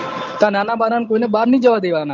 તાર નાના બાના કોઈને બાર ની જવા દવા ના